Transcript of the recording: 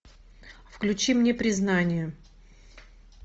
включи мне признание